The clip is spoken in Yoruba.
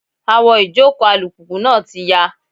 Awọ ìjòkó alùpùpù náà ti yá.